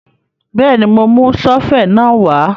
Bẹ́ẹ̀ni, mo mú sọ́fẹ̀ náà wá